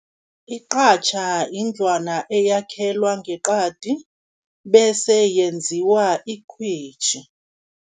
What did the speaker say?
Iqatjha indlwana eyakhelwa ngeqadi, bese yenziwa ikhwitjhi.